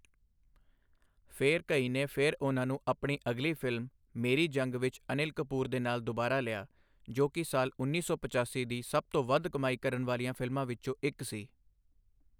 ਫਿਰ ਘਈ ਨੇ ਫਿਰ ਉਹਨਾਂ ਨੂੰ ਆਪਣੀ ਅਗਲੀ ਫਿਲਮ, ਮੇਰੀ ਜੰਗ ਵਿੱਚ ਅਨਿਲ ਕਪੂਰ ਦੇ ਨਾਲ ਦੁਬਾਰਾ ਲਿਆ, ਜੋ ਕਿ ਸਾਲ ਉੱਨੀ ਸੌ ਪਚਾਸੀ ਦੀ ਸਭ ਤੋਂ ਵੱਧ ਕਮਾਈ ਕਰਨ ਵਾਲੀਆਂ ਫਿਲਮਾਂ ਵਿੱਚੋਂ ਇੱਕ ਸੀ।